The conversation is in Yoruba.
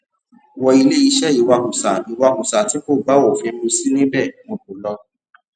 wo ilé iṣẹ ìwakùsà ìwakùsá tí kò bá òfin mu sí níbẹ wọn kó lọ